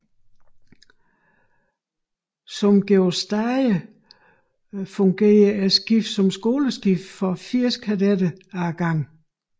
Som Georg Stage fungerede skibet som skoleskib for 80 kadetter ad gangen